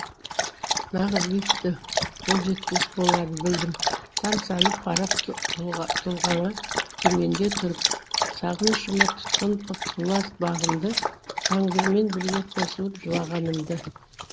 нағыз биіктің қол жетпес боларын білдім тамсанып қарап тұлғаңа төменде тұрып сағынышыма тұтқын қып бұла бағымды жаңбырмен бірге қосылып жылағанымды